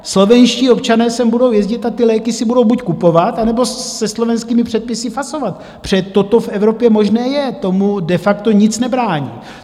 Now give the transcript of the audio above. Slovenští občané sem budou jezdit a ty léky si budou buď kupovat, anebo se slovenskými předpisy fasovat, protože toto v Evropě možné je, tomu de facto nic nebrání.